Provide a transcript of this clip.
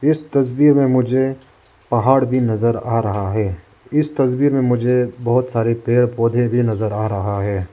इस तस्वीर में मुझे पहाड़ भी नजर आ रहा है इस तस्वीर में मुझे बहुत सारे पेड़ पौधे भी नजर आ रहा है।